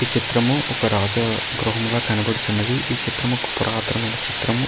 ఈ చిత్రము ఒక రాజా గృహంలా కనపడుచున్నది. ఈ చిత్రము ఒక పురాతనమైన చిత్రము.